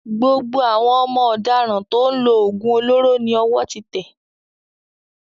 Gbogbo àwọn ọmọ ọ̀daràn tó ń lo òògùn olóró ni ọwọ́ ti tẹ́